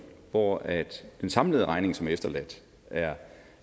hvor den samlede regning som er efterladt er